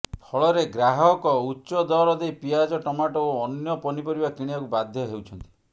ଫଳରେ ଗ୍ରାହକ ଉଚ୍ଚ ଦର ଦେଇ ପିଆଜ ଟମାଟୋ ଓ ଅନ୍ୟ ପନିପରିବା କିଣିବାକୁ ବାଧ୍ୟ ହେଉଛନ୍ତି